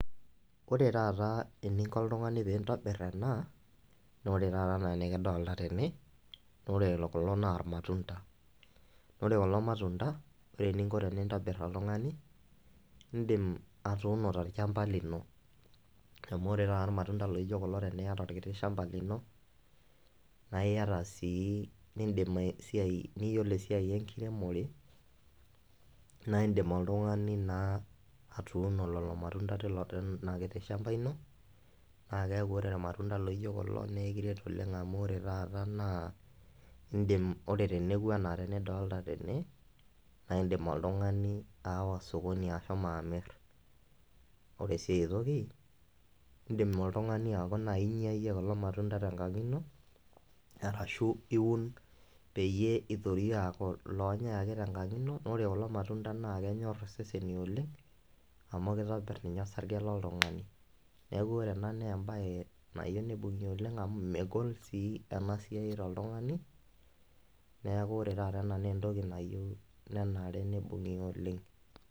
Ore taata eninko oltung'ani pintobirr ena naa ore taata enaa enikidolta tene nore kulo naa irmatunda nore kulo matunda ore eninko tenintobirr oltung'ani indim atuuno torchamba lino amu ore taata irmatunda laijo kulo teniyata orkiti shamba lino naa iyata sii nindim ae siai niyiolo esiai enkiremore naindim oltung'ani naa atuuno lolo matunda tilo tinakiti shamba ino naa keeku ore irmatunda laijo kulo naa ekiret oleng amu ore taata naa indim ore teneku anaa tenidolta tene naindim oltung'ani aawa sokoni ashomo amirr ore sii aetoki indim oltung'ani aaku naaji inyia iyie kulo matunda tenkang ino arashu iun peyie itorie aaku ilonyai ake tenkang ino naa ore kulo matunda naa kenyorr iseseni oleng amu kitobirr ninye osarge loltung'ani niaku ore ena naa embaye nayieu nibung'i oleng amu megol sii ena siai toltung'ani neku ore taata naa entoki nayieu nenare nibung'i oleng.